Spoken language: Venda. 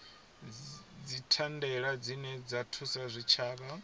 dzithandela dzine dza thusa zwitshavha